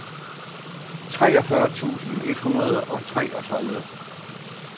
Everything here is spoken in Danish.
treogfyrre tusind et hundrede og treogtredive